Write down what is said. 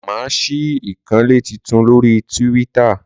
Máà ṣí ìkànnlé titun lórí tíwíttà.